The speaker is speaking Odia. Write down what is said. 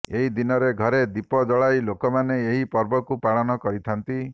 ଏହି ଦିନରେ ଘରେ ଦୀପ ଜଳାଯାଇ ଲୋକମାନେ ଏହି ପର୍ବକୁ ପାଳନ କରିଥାନ୍ତି